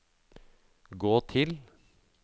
gå til